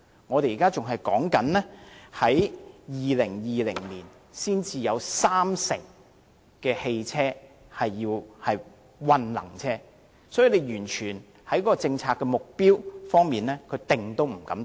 我們現時仍然說到了2020年，才有三成汽車屬混能車，所以在政策目標方面，政府是完全不敢制訂。